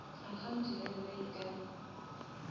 account ya yona e ka